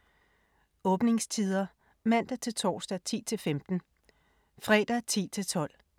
Åbningstider: Mandag-torsdag: 10-15 Fredag: 10-12